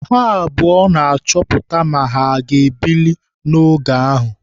Ha abụọ na-achọpụta ma ha aga ebili n'oge ahụ.